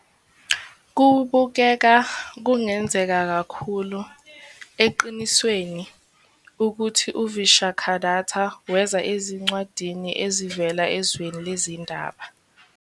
Kubukeka kungenzeka kakhulu, eqinisweni, ukuthi uVishakhadatta weza ezincwadini ezivela ezweni lezindaba.